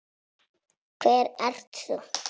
Hver ert þú?